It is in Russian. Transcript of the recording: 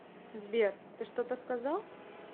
сбер ты что то сказал